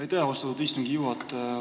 Aitäh, austatud istungi juhataja!